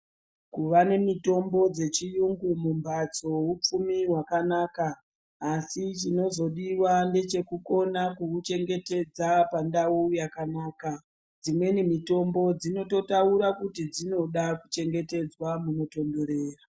Kuva nemitombo dzechiyungu mumphatso hupfumi hwakanaka asi chinozodiwa ndechekukona kuuchengetedza pandau yakanaka. Dzimweni mitombo dzinototaura kuti dzinoda kuchengetedzwa munotonhorera.